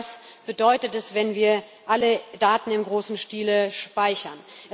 Denn genau das bedeutet es, wenn wir alle Daten im großen Stile speichern.